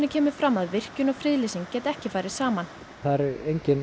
kemur fram að virkjun og friðlýsing geti ekki farið saman það er